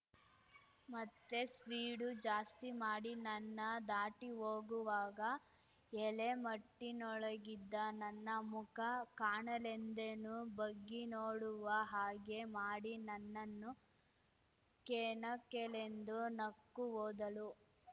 ಮತ್ತೆ ಸ್ಪೀಡು ಜಾಸ್ತಿ ಮಾಡಿ ನನ್ನ ದಾಟಿ ಹೋಗುವಾಗ ಎಲೆಮಟ್ಟಿನೊಳಗಿದ್ದ ನನ್ನ ಮುಖ ಕಾಣಲೆಂದೇನೋ ಬಗ್ಗಿ ನೋಡುವ ಹಾಗೆ ಮಾಡಿ ನನ್ನನ್ನು ಕೆಣಕೆಲೆಂದು ನಕ್ಕು ಹೋದಳು